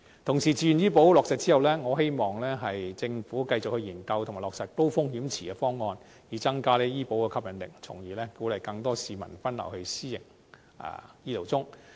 同時，自願醫保計劃落實後，我希望政府能繼續研究及落實高風險池方案，以增加醫保計劃的吸引力，從而鼓勵更多市民分流到私營醫療中。